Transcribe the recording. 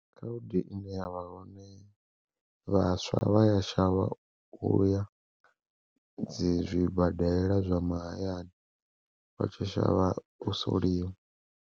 Khaedu ine yavha hone vhaswa vha ya shavha uya dzi zwibadela zwa mahayani vha tshi shavha u soliwa.